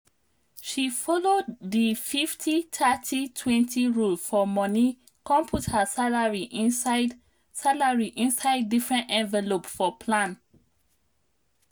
she follow di 50/30/20 rule for money come put her salary inside salary inside different envelope for plan.